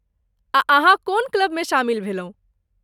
आ अहाँ कोन क्लबमे शामिल भेलहुँ?